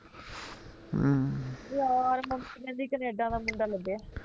ਯਾਰ ਮੰਮੀ ਕਹਿੰਦੀ ਕਨੇਡਾ ਦਾ ਮੁੰਡਾ ਲੱਭਿਆ ਐ